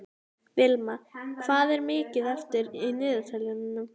Vilma, hvað er mikið eftir af niðurteljaranum?